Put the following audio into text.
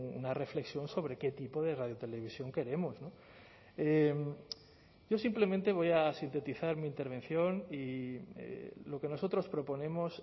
una reflexión sobre qué tipo de radiotelevisión queremos yo simplemente voy a sintetizar mi intervención y lo que nosotros proponemos